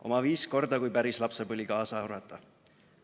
Oma viis korda, kui päris lapsepõli kaasa arvata.